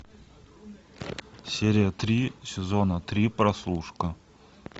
серия три сезона три прослушка